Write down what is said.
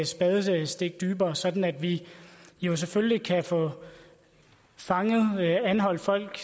spadestik dybere sådan at vi selvfølgelig kan få anholdt folk